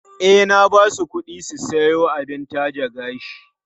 E, na ba su kuɗi su siyo abin taje gashi.